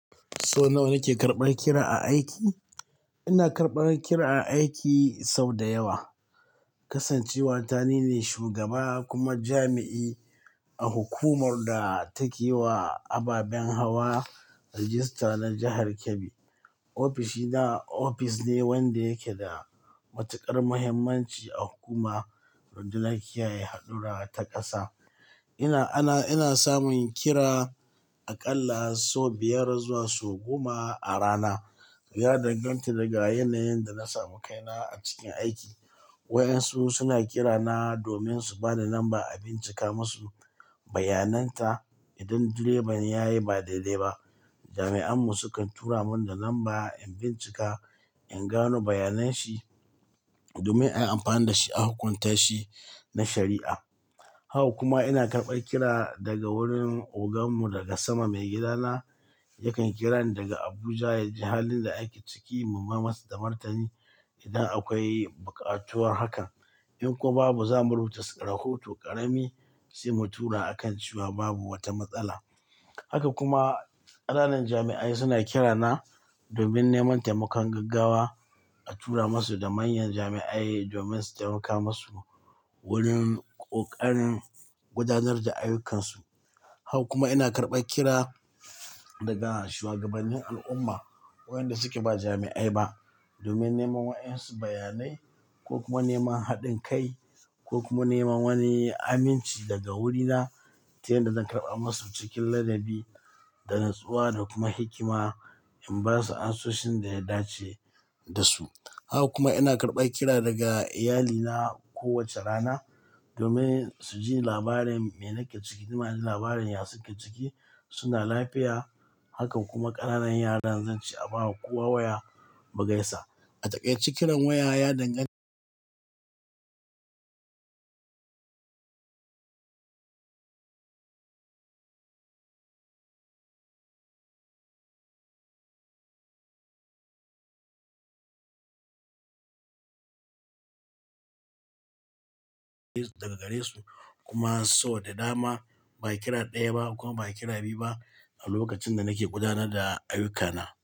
Sau nawa nake karɓar kira a aiki? Ina karɓar kira a aiki sau da yawa. Kasancewa ta nine shugaba kuma jami'i a hukumar da take wa ababen hawa rajista na jahar Kebbi. Ofishina ofis ne wanda yake da matuƙar muhimmanci a hukuma wajen lafiya da haɗura ta ƙasa. Ina, ana, ina samun kira aƙalla sau biyar zuwa sau goma a rana. Ya danganta daga yanayin da na samu kaina a cikin aiki. Wa'yansu suna kirana domin su bani namba a bincika musu bayanan ta idan direba yayi ba dai-dai ba jami'an mu sukan tura mun da lamba in bincika in gano bayanan shi domin ayi amfani da shi a hukunta shi na shari'a. Haka kuma ina karɓar kira daga wurin ogan mu daga sama, maigidana. Yakan kira ni daga Abuja ya ji halin da ake ciki mu mayar masa da martani idan akwai bukatuwar hakan. In kuwa babu, za mu rubuta rahoto ƙarami sai mu tura a kan cewa babu wata matsala. Haka kuma ƙananan jami'ai suna kirana domin neman taimakon gaggawa a tura masu da manyan jami'ai domin su taimaka masu wurin ƙoƙarin gudanar da ayyukansu. Haka kuma ina karɓar kira daga shugabannin al'umma waɗanda suke ba jami'ai ba domin neman waɗansu bayanai ko kuma neman haɗin kai ko kuma neman wani amince daga wurina ta yadda zan karɓa musu cikin ladabi da natsuwa da kuma hikima in ba su asusun da ya dace da su. Haka kuma ina karɓar kira daga iyalina kowace rana domin su ji labarin me nake ciki, nima ji labarin yasun ke ciki suna lafiya. Haka kuma ƙananan yaran zanci a bawa kowa waya mu gaisa. A takaice kiran waya ya dangani daga gare su kuma sau da dama ba kira ɗaya ba kuma ba kira biyu ba a lokacin da nake gudanar da ayyukana.